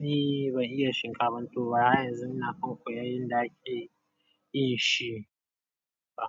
ni ban iya shinkafan tuwo ba har yanzu ina kan koyan yanda ake yin shi ba.